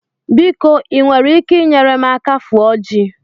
Biko ị nwere ike nyere m aka fụọ ji?